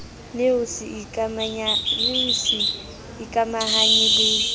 le ho se ikamahanye le